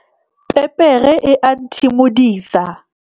pepere e a nthimodisa